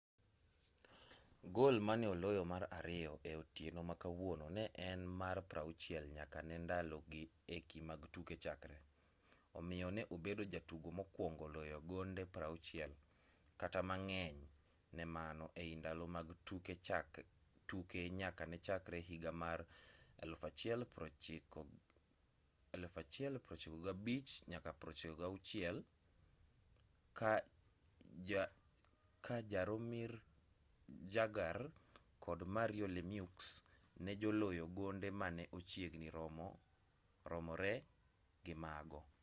gol mane oloyo mar ariyo e otieno ma kawuono ne en mare mar 60 nyaka ne ndalogi eki mag tuke chakre omiyo ne obedo jatugo mokwongo loyo gonde 60 kata mang'eny ne mano ei ndalo mag tuke nyaka ne chakre higa mar 1995-96 ka jaromir jagr kod mario lemieux ne joloyo gonde mane ochiegni romore gi mago